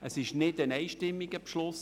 Es ist kein einstimmiger Beschluss.